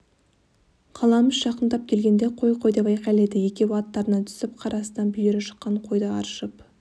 қаламүш жақындап келгенде қой қой деп айқайлайды екеуі аттарынан түсіп қар астынан бүйірі шыққан қойды аршып